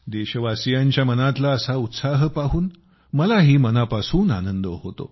देशवासीयांच्या मनातला असा उत्साह पाहून मलाही मनापासून आनंद होतो